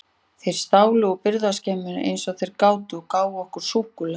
Þeir stálu úr birgðaskemmum eins og þeir gátu og gáfu okkur súkkulaði.